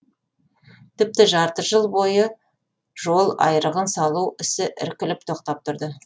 тіпті жарты жыл бойы жол айрығын салу ісі іркіліп тоқтап тұрды